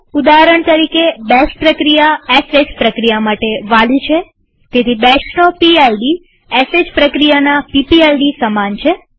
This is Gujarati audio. ઉદાહરણ તરીકેબેશ પ્રક્રિયા શ પ્રક્રિયા માટે વાલી છેતેથી બેશનો પીડ એ શ પ્રક્રિયાના પીપીઆઈડી સમાન છે